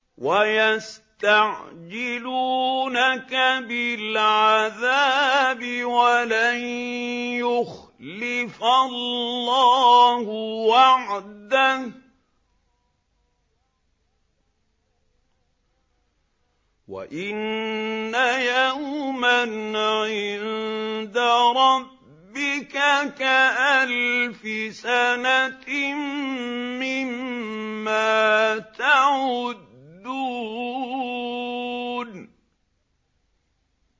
وَيَسْتَعْجِلُونَكَ بِالْعَذَابِ وَلَن يُخْلِفَ اللَّهُ وَعْدَهُ ۚ وَإِنَّ يَوْمًا عِندَ رَبِّكَ كَأَلْفِ سَنَةٍ مِّمَّا تَعُدُّونَ